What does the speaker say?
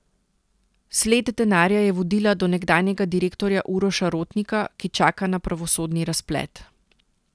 Sled denarja je vodila do nekdanjega direktorja Uroša Rotnika, ki čaka na pravosodni razplet.